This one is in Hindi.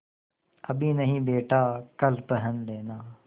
अभी नहीं बेटा कल पहन लेना